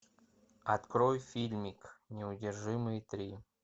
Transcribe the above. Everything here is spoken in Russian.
открой фильмик неудержимые три